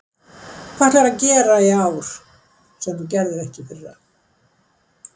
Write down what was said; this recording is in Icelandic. Hvað ætlar þú að gera í ár sem þú gerðir ekki í fyrra?